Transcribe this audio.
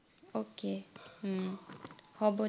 okay হম হব